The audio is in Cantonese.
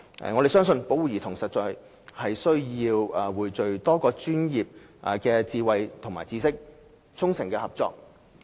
我們相信，保護兒童實在需要匯聚多個專業的智慧和知識，衷誠合作。